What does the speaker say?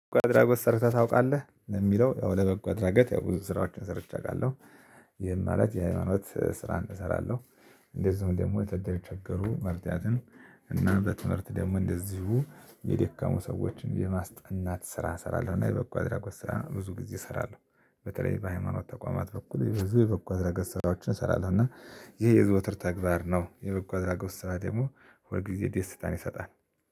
በበጎ አድራጊ ሰርተህ ታውቃለህ ለሚለው ያው ለበጎ አድራጎት ያው ብዙ ስራዎችን ሰርቼ አውቃለሁ። ይህም ማለት የሃይማኖት ስራ እሰራለሁ። እንደዚሁም ደግሞ ከተቸገሩ መርዳትን እና በትምህርት ደግሞ እንደዚሁ የደካሙ ሰዎችን የማስጠናት ስራ እሰራለሁ። እና የበቁ አድራጎት ስራ ብዙ ጊዜ እሰራለሁ። በተለይ በሃይማኖት ተቋማት በኩል ብዙ የበጎ አድራጎት ስራዎችን እንሰራለን እና። ይሄ የዘወትር ተግባር ነው። የበጎ አድራጎት ስራ ደግሞ ሁል ጊዜ ደስታን ይሰጣል